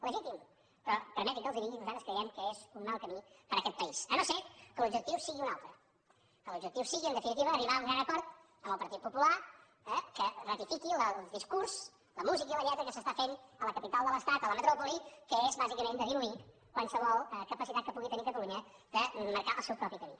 legítim però permetin me que els ho digui nosaltres creiem que és un mal camí per a aquest país si no és que l’objectiu sigui un altre que l’objectiu sigui en definitiva arribar a un gran acord amb el partit popular eh que ratifiqui el discurs la música i la lletra que s’estan fent a la capital de l’estat a la metròpoli que és bàsicament de diluir qualsevol capacitat que pugui tenir catalunya de marcar el seu propi camí